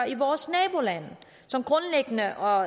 i vores nabolande der har